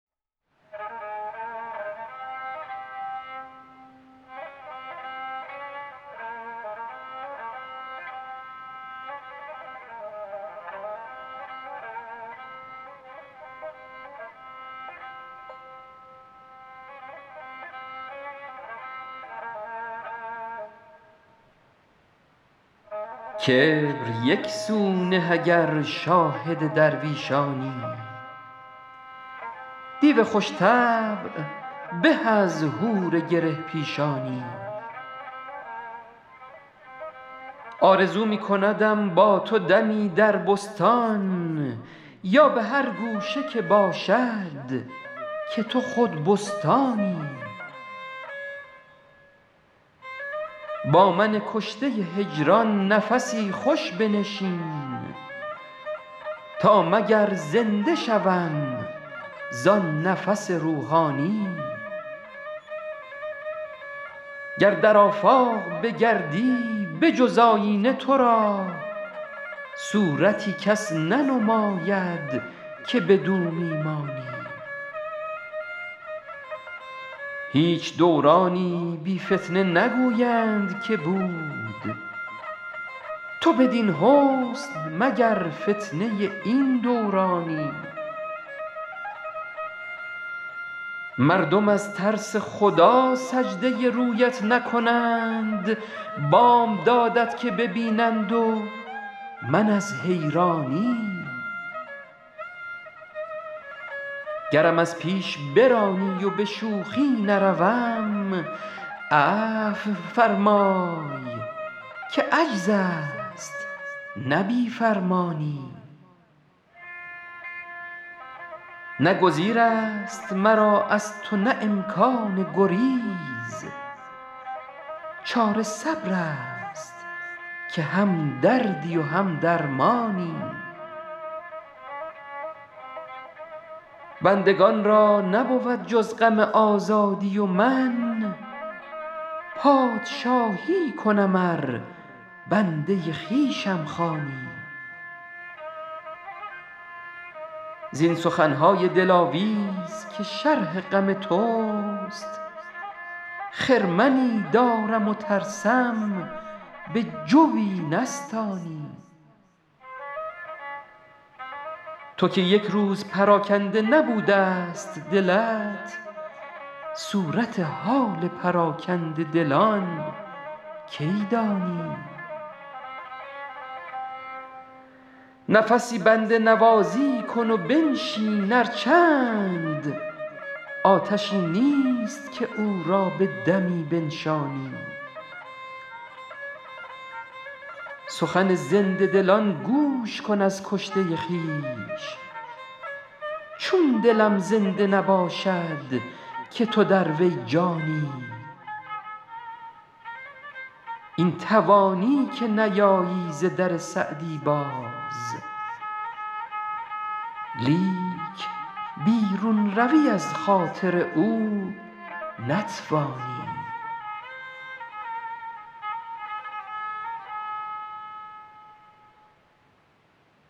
کبر یک سو نه اگر شاهد درویشانی دیو خوش طبع به از حور گره پیشانی آرزو می کندم با تو دمی در بستان یا به هر گوشه که باشد که تو خود بستانی با من کشته هجران نفسی خوش بنشین تا مگر زنده شوم زآن نفس روحانی گر در آفاق بگردی به جز آیینه تو را صورتی کس ننماید که بدو می مانی هیچ دورانی بی فتنه نگویند که بود تو بدین حسن مگر فتنه این دورانی مردم از ترس خدا سجده رویت نکنند بامدادت که ببینند و من از حیرانی گرم از پیش برانی و به شوخی نروم عفو فرمای که عجز است نه بی فرمانی نه گزیر است مرا از تو نه امکان گریز چاره صبر است که هم دردی و هم درمانی بندگان را نبود جز غم آزادی و من پادشاهی کنم ار بنده خویشم خوانی زین سخن های دلاویز که شرح غم توست خرمنی دارم و ترسم به جوی نستانی تو که یک روز پراکنده نبوده ست دلت صورت حال پراکنده دلان کی دانی نفسی بنده نوازی کن و بنشین ار چند آتشی نیست که او را به دمی بنشانی سخن زنده دلان گوش کن از کشته خویش چون دلم زنده نباشد که تو در وی جانی این توانی که نیایی ز در سعدی باز لیک بیرون روی از خاطر او نتوانی